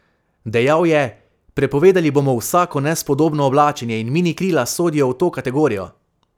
Dejal je: "Prepovedali bomo vsako nespodobno oblačenje in minikrila sodijo v to kategorijo.